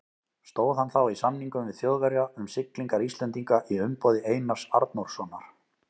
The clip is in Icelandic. Stóð hann þá í samningum við Þjóðverja um siglingar Íslendinga í umboði Einars Arnórssonar.